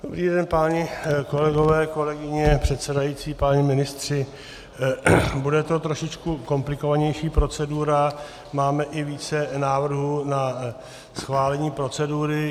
Dobrý den, páni kolegové, kolegyně, předsedající, páni ministři, bude to trošičku komplikovanější procedura, máme i více návrhů na schválení procedury.